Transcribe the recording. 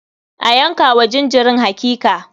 A yanka wa jinjirin hakika.